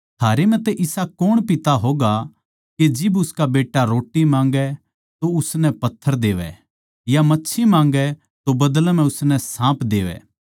थारै म्ह तै इसा कौण पिता होगा के जिब उसका बेट्टा रोट्टी माँगै तो उसनै पत्थर देवै या मच्छी माँगै तो बदलै म्ह उसनै साँप देवै